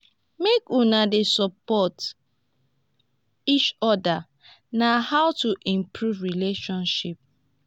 make una dey support eachoda na how to improve relationship